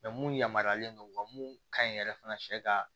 mun yamaruyalen don wa mun ka ɲi yɛrɛ fana sɛ ka